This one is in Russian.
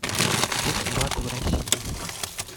курс бата в россии